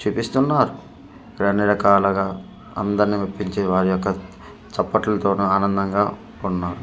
చూపిస్తున్నారు ఇక్కడన్ని రకాలుగా అందరినీ మెప్పించి వారియొక్క చప్పట్లతోనూ ఆనందంగా ఉన్నారు.